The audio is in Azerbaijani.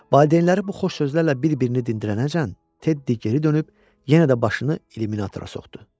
Valideynləri bu xoş sözlərlə bir-birini dindirənəcən, Teddi geri dönüb yenə də başını illuminatora soxdu.